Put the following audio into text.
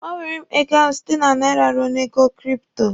Gbanwere m ego ahụ site na naira ruo na ego kripto!